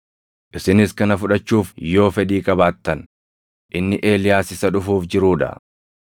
Isinis kana fudhachuuf yoo fedhii qabaattan, inni Eeliyaas isa dhufuuf jiruu dha.